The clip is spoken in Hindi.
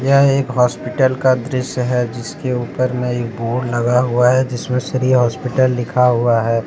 यह एक होस्पिटल का दृश्य है जिसके ऊपर में एक बोर्ड लगा हुआ है जिसमें श्री होस्पिटल लिखा हुआ है ।